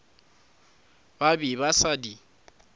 ba be ba sa di